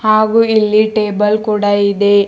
ಹಾಗೂ ಇಲ್ಲಿ ಟೇಬಲ್ ಕೂಡ ಇದೆ.